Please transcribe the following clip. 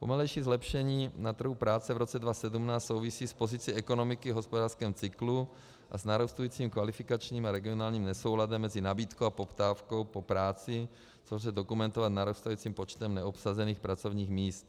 Pomalejší zlepšení na trhu práce v roce 2017 souvisí s pozicí ekonomiky v hospodářském cyklu a s narůstajícím kvalifikačním a regionálním nesouladem mezi nabídkou a poptávkou po práci, což lze dokumentovat narůstajícím počtem neobsazených pracovních míst.